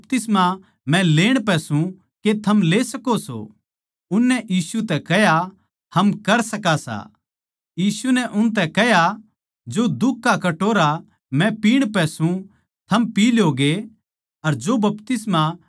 यीशु नै उनतै कह्या थम न्ही जाणदे के थम के माँग्गो सो अर जो दुख का कटोरा मै पीण पै सूं के थम पी सको सो अर जो मौत का बपतिस्मा मै लेण पै सूं के थम ले सको सो